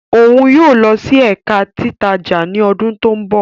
Oun yóò lọ si Ẹka Titaja ni ọdun to nbọ